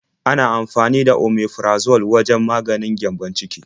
Ana amfani da Omeprazole wajen maganin gyambon ciki.